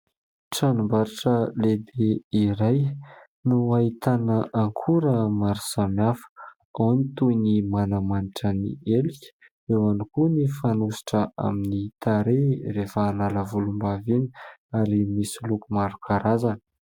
Tranombarotra lehibe iray no ahitana akora maro samihafa ; ao ny toy ny manamanitra ny helika, eo ihany koa ny fanosotra amin'ny tarehy rehefa hanala volom-bava iny ary misy loko maro karazana.